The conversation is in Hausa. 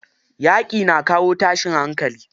Yaƙi na kawo tashin hankali.